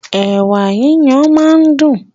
Ẹ̀wà yíyan máa ń dún.